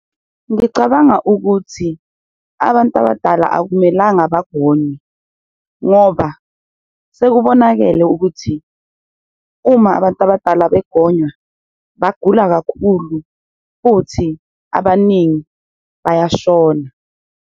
Ngicabanga ukuthi abantu abadala akumelanga bagonywe ngoba sekubonakele ukuthi, uma abantu abadala begonywa bagula kakhulu futhi abaningi bayashona.